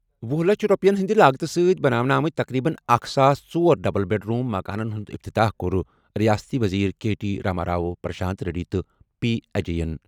ۄہُ لچھ رۄپیَن ہٕنٛدِ لاگتہٕ سۭتۍ بناونہٕ آمٕتۍ تقریباً اکھ ساس ژۄر ڈبل بیڈ روم مکانَن ہُنٛد افتتاح کوٚر ریاستی وزیر کے ٹی راما راؤ، پرشانت ریڈی تہٕ پی اجے یَن ۔